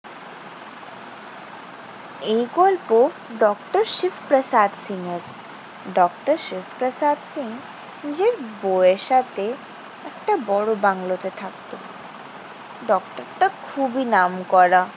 এই গল্প ডক্টর শিব প্রসাদ সিং এর। ডক্টর শিব প্রসাদ সিং নিজের বউয়ের সাথে একটা বড় বাংলোতে থাকতো। ডক্টরটা খুবই নামকরা।